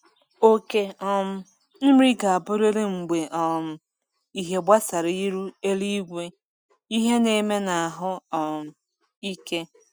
okề um nri ga aburịrị mgbe um ịhe gbasara iru eluigwe, ịhe n’eme na ahụ um ike